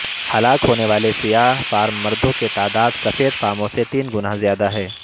ہلاک ہونے والے سیاہ فام مردوں کی تعداد سفید فاموں سے تین گنا زیادہ ہے